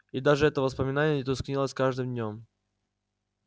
и даже это воспоминание тускнело с каждым днём